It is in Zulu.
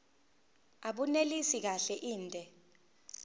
abunelisi kahle inde